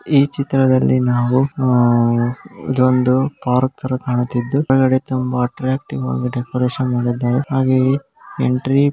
ಈ ಚಿತ್ರದಲ್ಲಿ ನಾವು ಆಹ್ಹ್ ಇದೊಂದು ಪಾರ್ಕ್ ತರ ಕಾಣುತ್ತಿದ್ದು ಒಳಗಡೆ ತುಂಬಾ ಅಟ್ಟ್ರಾಕ್ಟಿವ್ ಆಗಿ ಡೆಕೋರೇಷನ್ ಮಾಡಿದ್ದಾರೆ ಹಾಗೆಯೆ ಎಂಟ್ರಿ --